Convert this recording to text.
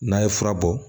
N'a ye fura bɔ